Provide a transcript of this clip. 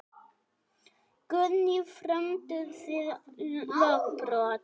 Guðný: Frömduð þið lögbrot?